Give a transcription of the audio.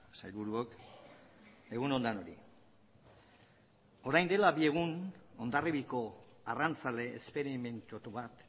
sailburuok egun on denoi orain dela bi egun hondarriabiako arrantzale esperimentatu bat